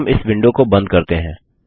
हम इस विंडो को बंद करते हैं